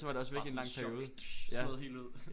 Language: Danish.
Bare sådan et chok slået helt ud